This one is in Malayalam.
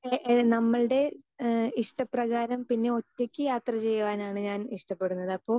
സ്പീക്കർ 2 ഏഹ് ഏഹ് നമ്മൾടെ ഇഹ ഇഷ്ടപ്രകാരം പിന്നെ ഒറ്റയ്ക്ക് യാത്ര ചെയ്യുവാനാണ് ഞാൻ ഇഷ്ടപ്പെടുന്നത് അപ്പൊ